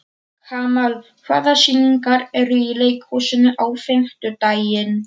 Kamal, hvaða sýningar eru í leikhúsinu á fimmtudaginn?